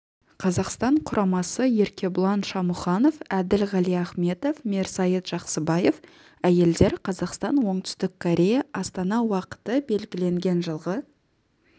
қазақстан құрамасы еркебұлан шамұханов әділ ғалиахметов мерсайыт жақсыбаев әйелдер қазақстан оңтүстік корея астана уақыты белгіленген жылғы